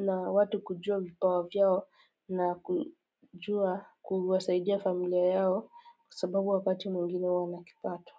na watu kujua vipawa vyao na kujua kuwasaidia familia yao kwasababu wakati mwingine huwa na kipato.